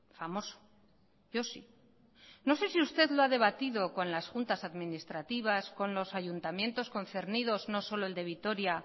famoso yo sí no sé si usted lo ha debatido con las juntas administrativas con los ayuntamientos concernidos no solo el de vitoria